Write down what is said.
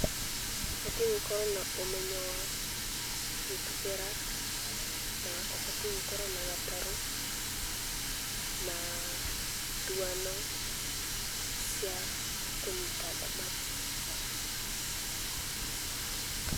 Ũbatiĩ gũkorũo na ũmenyo wa, gũtubĩra, na ũbatiĩ gũkorũo na gatarũ, na nduano cia kũnyita thamaki